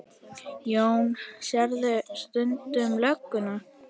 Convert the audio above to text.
Jón: Sérðu stundum lögguna?